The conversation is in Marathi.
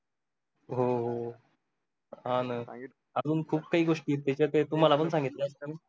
हो हो हा न अजून खूप काही गोष्टी आहेत त्याचा त्या तुम्हाला पण सांगितल्या नाही